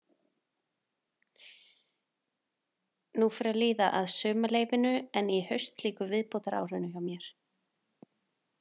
Nú fer að líða að sumarleyfinu en í haust lýkur viðbótaárinu hjá mér.